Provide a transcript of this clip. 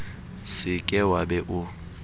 se ke wa be o